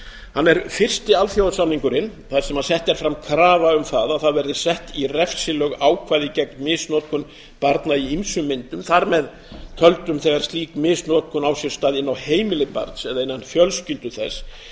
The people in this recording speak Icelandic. hann er fyrsti alþjóðasamningurinn þar sem sett er fram krafa um að sett verði í refsilög ákvæði gegn misnotkun barna í ýmsum myndum þar með töldum þegar slík misnotkun á sér stað inni á heimili barns eða innan fjölskyldu þess